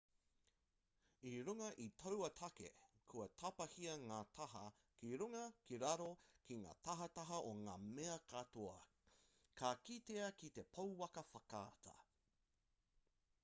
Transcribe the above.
i runga i taua take kua tapahia ngā taha ki runga ki raro ki ngā tahataha o ngā mea katoa ka kitea ki te pouaka whakaata